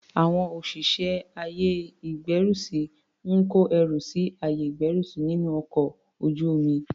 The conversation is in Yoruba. Àwọn òṣìṣẹ́ àyè ìgbẹ́rùsí ń kó ẹrù sí àyè ìgbẹ́rùsí nínú ọkọl ojú omi.